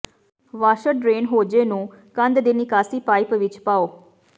washer drain hose ਨੂੰ ਕੰਧ ਦੀ ਨਿਕਾਸੀ ਪਾਈਪ ਵਿੱਚ ਪਾਓ